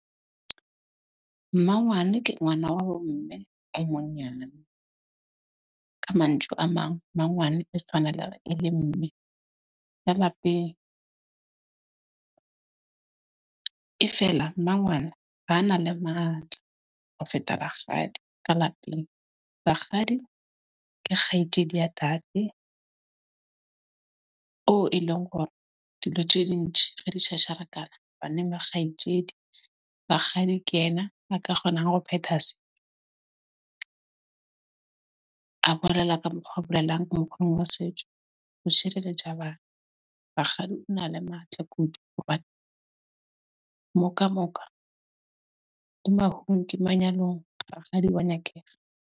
Mmangwane ke ngwana wa bo mme e monyane. Ka a mang, mangwane e tshwaneleha e le mme e feela mmangwana ba a na le matla ho feta rakgadi ka lapeng. Rakgadi ke kgaitsedi ya tate oo e leng hore dilo tje ding re di tshatsharakana baneng ba kgaitsedi rakgadi ke ena a ka kgonang hore phetha se. A bolela ka mokgwa bolelang wa setjo ho shereletja bana. Rakgadi o na le matla kudu, hobane mo ka moka moka ke ke manyalong rakgadi wa nyakega.